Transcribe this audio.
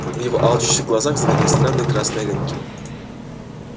в его алчущих глазах загорелись странные красные огоньки